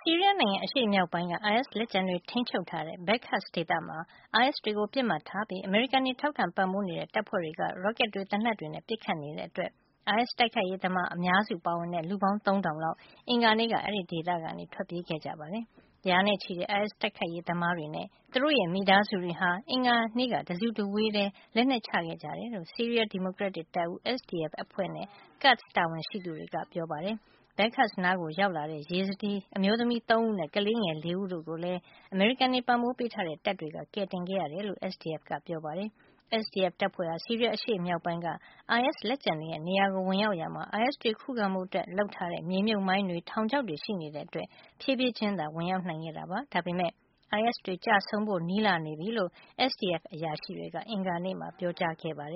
ီးရီးယားနိုင်ငံအရှေ့မြောက်ပိုင်းက အိုင်အက်စ် လက်ကျန်တွေ ထိန်းချုပ်ထားတဲ့ Baghuz ဒေသမှာ အိုင်အက်စ်တွေကို ပစ်မှတ်ထားပြီး အမေရိကန်တွေ ထောက်ခံပံ့ပိုးနေတဲ့ တပ်ဖွဲ့တွေက ရော့ကက်တွေ သေနတ်တွေနဲ့ ပစ်ခတ်နေတဲ့အတွက် အိုင်အက်စ်တိုက်ခိုက်ရေးသမား အများစုပါဝင်တဲ့ လူပေါင်း သုံးထောင်လောက် အင်္ဂါနေ့က အဲဒီဒေသကနေ ထွက်ပြေးခဲ့ကြပါတယ်။ ရာနဲ့ချီတဲ့ အိုင်အက်စ်တိုက်ခိုက်ရေး သမားတွေနဲ့ သူတို့ရဲ့မိသားစုတွေဟာ အင်္ဂါနေ့က တစုတဝေးတည်း လက်နက်ချခဲ့ကြတယ်လို့ ဆီးရီးယား ဒီမိုကရက်တစ် တပ်ဦး SDF အဖွဲ့နဲ့ Kurds တာဝန်ရှိသူတွေက ပြောပါတယ်။ Baghuz နားကိုရောက်လာတဲ့ Yazidi မျိုးသမီး ၃ ဦးနဲ့ ကလေးငယ် ၄ ဦး တို့ကိုလည်း အမေရိကန်တွေ ပံ့ပိုးပေးထားတဲ့ တပ်တွေက ကယ်ခဲ့ရတယ်လို့ SDF ကပြောပါတယ်။ SDF တပ်ဖွဲ့ဟာ ဆီးရီးယား အရှေ့မြောက်ပိုင်းက အိုင်အက်စ် လက်ကျန်တွေရဲ့ နေရာကို ဝင်ရောက်ရာမှာ အိုင်အက်စ်တွေခုခံဖို့ လုပ်ထားတဲ့ မြေမြှုပ်မိုင်းတွေ၊ ထောင်ချောက်တွေ ရှိနေတဲ့အတွက် ဖြေးဖြေးချင်းသာ ဝင်ရောက်နိုင်ခဲ့တာပါ။ ဒါပေမယ့် အိုင်အက်စ်တွေ ကျဆုံးဖို့ နီးလာနေပြီလို့ SDF အရာရှိတွေက အင်္ဂါနေ့မှာ ပြောပါတ